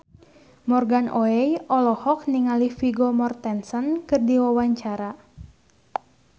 Morgan Oey olohok ningali Vigo Mortensen keur diwawancara